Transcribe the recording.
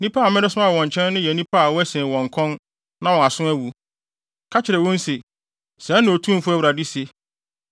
Nnipa a meresoma wo wɔn nkyɛn no yɛ nnipa a wɔasen wɔn kɔn na wɔn aso awu. Ka kyerɛ wɔn se, ‘Sɛɛ na Otumfo Awurade se.’